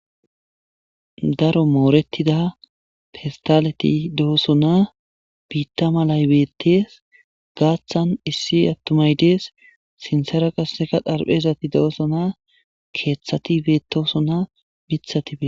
Daro mooretida pestaleti dooso na biitta malay beettees gaaththan issi attumaydees sinsera qasseka dharphezati do,oso na keeththati beetoso na mithati bie.